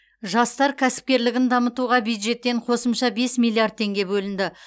жастар кәсіпкерлігін дамытуға бюджеттен қосымша бес миллиард теңге бөлінеді